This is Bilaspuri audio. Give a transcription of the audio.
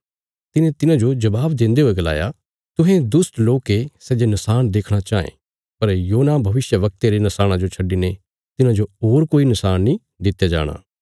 तिने तिन्हांजो जबाब देन्दे हुये गलाया तुहें दुष्ट लोक ये सै जे नशाण देखणा चाँये पर योना भविष्यवक्ते रे नशाणा जो छड्डिने तिन्हांजो होर कोई नशाण नीं दित्या जाणा